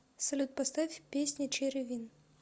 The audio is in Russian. салют поставь песня черри вин